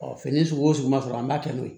fini sugu o sugu man sɔrɔ an b'a kɛ n'o ye